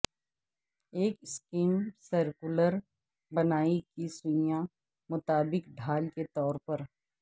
ایک scheme circular بنائی کی سوئیاں مطابق ڈھال کے طور پر